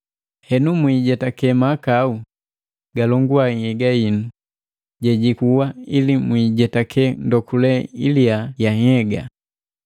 Henu, mwiijetake mahakau galongua nhyega hinu jejikuwa ili mwiijetake ndokule iliya ya nhyega.